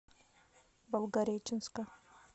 волгореченска